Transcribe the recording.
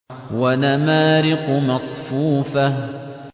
وَنَمَارِقُ مَصْفُوفَةٌ